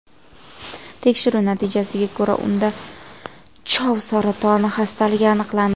Tekshiruv natijasiga ko‘ra, unda chov saratoni xastaligi aniqlandi.